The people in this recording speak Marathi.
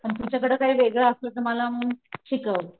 पन तुझ्या कड काही वेगळं असलं तर मला मग शिकाव.